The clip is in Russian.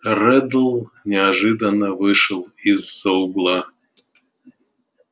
реддл неожиданно вышел из-за угла